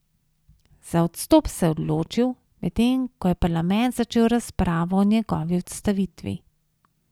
Za odstop se je odločil, medtem ko je parlament začel razpravo o njegovi odstavitvi.